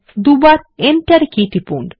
দুইবার Enter key টিপুন